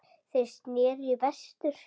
Þeir sneru í vestur.